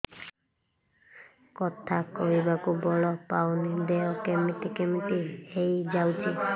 କଥା କହିବାକୁ ବଳ ପାଉନି ଦେହ କେମିତି କେମିତି ହେଇଯାଉଛି